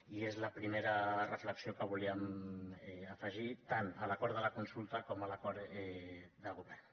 i és la primera reflexió que volíem afegir tant a l’acord de la consulta com a l’acord de govern